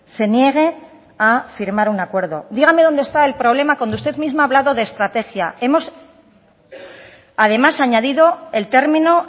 se niegue a firmar un acuerdo dígame dónde está el problema cuando usted mismo ha hablado de estrategia hemos además añadido el término